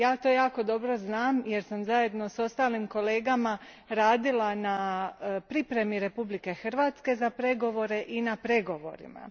Ja to jako dobro znam, jer sam zajedno s ostalim kolegama radila na pripremi Republike Hrvatske za pregovore i na pregovorima.